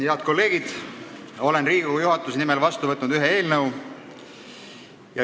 Head kolleegid, olen Riigikogu juhatuse nimel vastu võtnud ühe eelnõu.